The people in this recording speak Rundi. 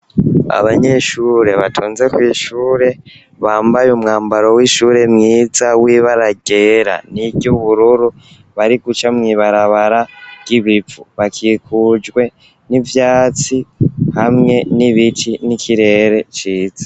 Abanyeshure batonze kw'ishure bambaye umwambaro w'ishure mwiza w'ibara ryera n'ibara ry'ubururu bariguca kw'ibarabara ry’ibivu, bakikujwe n'ivyatsi hamwe n'ibiti n'ikirere ciza.